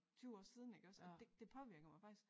20 år siden iggås og det det påvirker mig faktisk